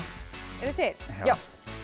eruð þið til já